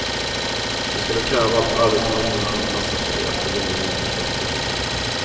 De skulle kräva att arbetsmarknaden anpassar sig efter vanliga människors behov.